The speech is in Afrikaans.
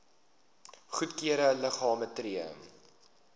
goedgekeurde liggame tree